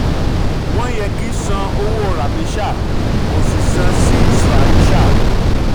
wọ́n yẹ kí san owó ramesha kò sí san sí sramesha.